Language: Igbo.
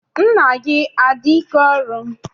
Nna gị adị ike ọrụ?